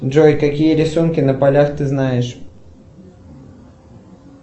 джой какие рисунки на полях ты знаешь